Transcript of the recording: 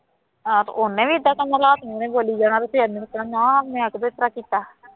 ਆਹੋ ਉਹਨੇ ਵੀ ਤਾਂ ਦਿਨ ਰਾਤ ਐਵੇਂ ਬੋਲੀ ਜਾਣਾ ਤੁਸੀਂ ਮੈਂ ਇਸ ਤਰ੍ਹਾਂ ਕੀਤਾ